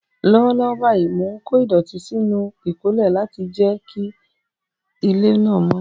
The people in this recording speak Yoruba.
Lọ́wọ́lọ́wọ́ báyìí, mò ń kó ìdọ̀tí sínú ìkólẹ̀ láti jẹ́ kí ilé náà mọ́.